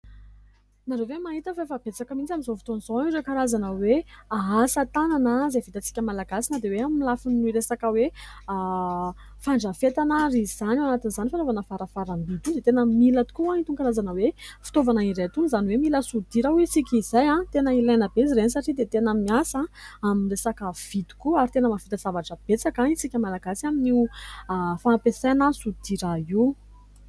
Ianareo ve mahita fa efa betsaka mihitsy amin'izao fotoan'izao ireo karazana hoe asa tanana izay vitatsika malagasy na dia hoe amin'ny lafin'ny resaka hoe fandrafetana ary izany ? Ao anatin'izany fanaovana varavaram-by dia tena mila tokoa an'itony karazana hoe fitaovana iray itony izany hoe mila sodira hoy isika izay. Tena ilaina be izy ireny satria dia tena miasa amin'ny resaka vy tokoa ary tena mahavita zavatra betsaka isika malagasy amin'ny fampiasana sodira io.